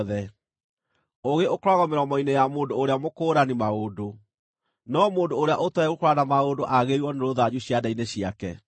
Ũũgĩ ũkoragwo mĩromo-inĩ ya mũndũ ũrĩa mũkũũrani maũndũ, no mũndũ ũrĩa ũtooĩ gũkũũrana maũndũ aagĩrĩirwo nĩ rũthanju ciande-inĩ ciake.